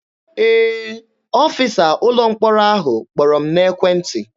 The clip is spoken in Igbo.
Ee, ọfịsa ụlọ mkpọrọ ahụ kpọrọ m n'ekwentị.